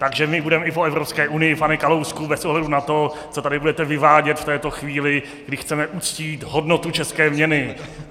Takže my budeme i po Evropské unii, pane Kalousku, bez ohledu na to, co tady budete vyvádět v této chvíli, kdy chceme uctít hodnotu české měny!